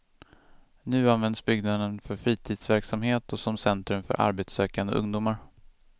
Nu används byggnaden för fritidsverksamhet och som centrum för arbetssökande ungdomar.